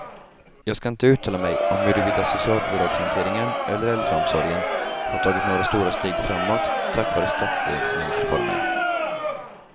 Jag skall inte uttala mig om huruvida socialbidragshanteringen eller äldreomsorgen har tagit några stora steg framåt tack vare stadsdelsnämndreformen.